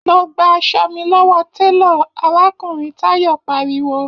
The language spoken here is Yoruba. Lọ gba aṣọ mi lọ́wọ́ télọ̀!, arákùnrin Táyọ̀ pariwo